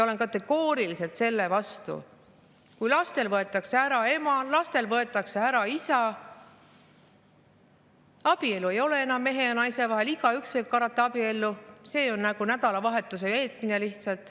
Olen kategooriliselt vastu, kui lastelt võetakse ära ema, lastelt võetakse ära isa, abielu ei ole enam mehe ja naise vahel, igaüks võib karata abiellu, see on nagu lihtsalt nädalavahetuse veetmine.